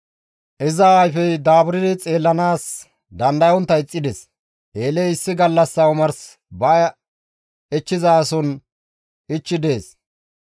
Iza ayfey daaburdi xeellanaas dandayontta ixxides; Eeley issi gallassa omars ba ichchizason ichchi dees.